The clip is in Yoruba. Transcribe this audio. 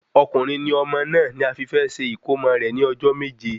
Ọkùnrin ni ọmọ náà ni a fi fẹ ṣe ìkómo rẹ ní ọjọ́ méje